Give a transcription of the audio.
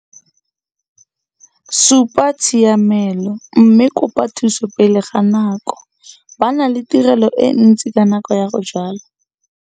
Supa tshiamelo mme kopa thuso pele ga nako - ba na le tiro e ntsi ka nako ya go jwala.